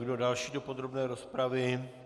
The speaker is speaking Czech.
Kdo další do podrobné rozpravy?